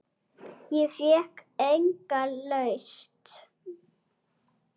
Ég fékk enga lausn.